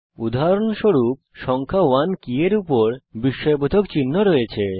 উদাহরণস্বরূপ সংখ্যা 1 কী এর উপর বিস্ময়বোধক চিহ্ন রয়েছে